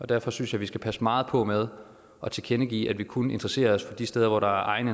derfor synes jeg vi skal passe meget på med at tilkendegive at vi kun interesserer os for de steder hvor der er